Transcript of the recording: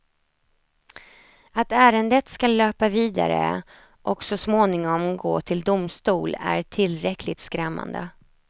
Att ärendet skall löpa vidare och så småningom gå till domstol är tillräckligt skrämmande.